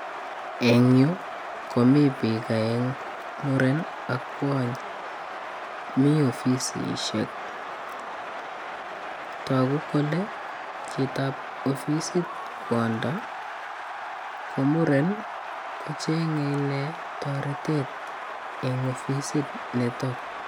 Eng yu komi biik aengu. Muren ak kwony. Mi ofisisiek. Tagu kole chitab ofisit kwondo ko muren ko chenge inne toretet eng ofisit nitok.